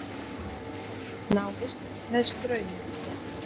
Návist með straumi.